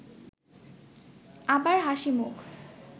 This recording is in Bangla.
আবার হাসিমুখ